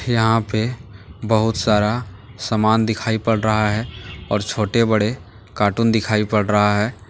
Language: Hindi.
यहां पे बहुत सारा सामान दिखाई पड़ रहा है और छोटे बड़े कार्टून दिखाई पड़ रहा है।